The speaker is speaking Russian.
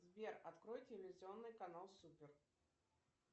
сбер открой телевизионный канал супер